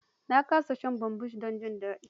Nakan sha bambus don jin daɗi.